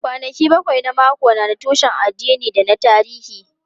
Kwanaki bakwai na mako na da tushen addini da na tarihi.